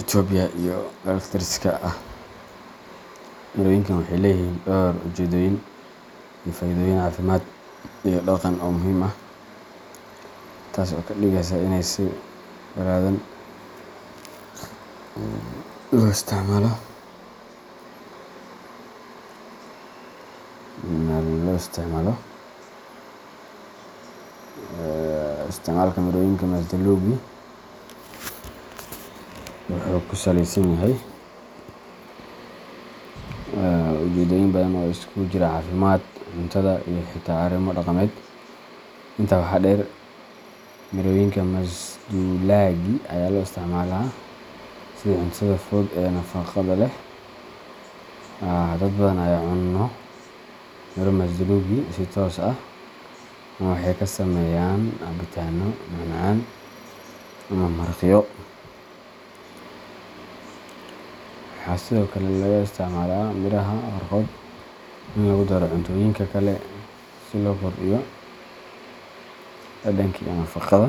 Itoobiya, iyo dalalka deriska ah. Mirooyinkan waxay leeyihiin dhowr ujeedooyin iyo faa’iidooyin caafimaad iyo dhaqan oo muhiim ah, taas oo ka dhigaysa inay si balaadhan loo isticmaalo. Isticmaalka mirooyinka masduulaagii wuxuu ku saleysan yahay ujeedooyin badan oo isugu jira caafimaad, cuntada, iyo xitaa arrimo dhaqameed. Intaa waxaa dheer, mirooyinka masduulaagii ayaa loo isticmaalaa sidii cuntada fudud ee nafaqada leh. Dad badan ayaa cuna miro masduulaagii si toos ah ama waxay ka sameeyaan cabitaano, macmacaan, ama maraqyo. Waxaa sidoo kale laga isticmaalaa miiraha qaarkood in lagu daro cuntooyinka kale si loo kordhiyo dhadhanka iyo nafaqada.